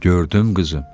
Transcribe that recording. Gördüm, qızım.